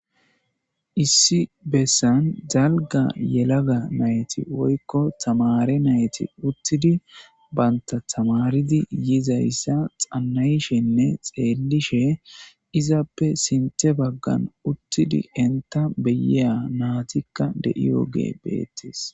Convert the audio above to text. Issi bessan dalga yelaga nayti woykko tamare nayti uttidi baynta tamaridi yizayssa xannayshenne xeenlishe izappe sinthe baggan uttidi enta beyeya naatikka de7iyoge beettes.